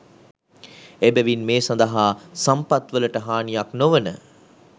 එබැවින් මේ සඳහා සම්පත්වලට හානියක් නොවන,